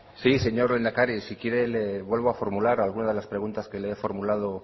sí señor lehendakari si quiere le vuelvo a formular alguna de las preguntas que le he formulado